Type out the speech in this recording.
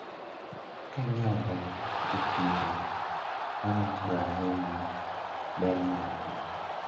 Kanyiewo rech e chiro arangoga ahinya ber margi.